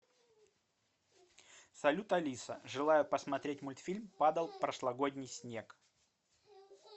салют алиса желаю посмотреть мультфильм падал прошлогодний снег